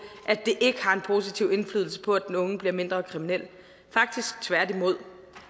at det ikke har en positiv indflydelse på at den unge bliver mindre kriminel faktisk tværtimod